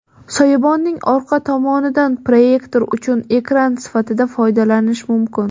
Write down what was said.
Soyabonning orqa tomonidan proyektor uchun ekran sifatida foydalanish mumkin.